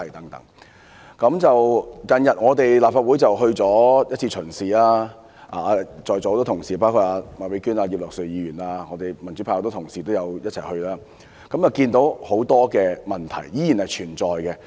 立法會最近安排了一次視察，在座很多同事，包括麥美娟議員、葉劉淑儀議員及民主派多位議員也一同出席，看到很多問題依然存在。